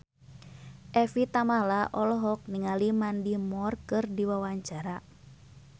Evie Tamala olohok ningali Mandy Moore keur diwawancara